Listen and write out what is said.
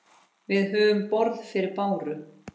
Við höfum borð fyrir báru.